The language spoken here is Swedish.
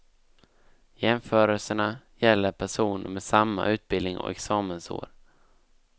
Jämförelserna gäller personer med samma utbildning och examensår.